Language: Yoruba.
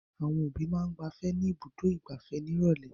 Àwọn òbí máa ń gbafẹ́ ní Ibùdó-ìgbafẹ́ ní ìrọ́lẹ́.